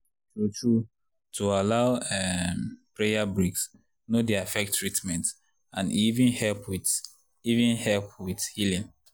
true-true to allow um prayer breaks no dey affect treatment and e even help wit even help wit healin’.